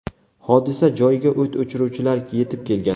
Hodisa joyiga o‘t o‘chiruvchilar yetib kelgan.